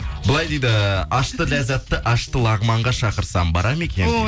былай дейді ащы ләзатты ащы лагманға шақырсам бара ма екен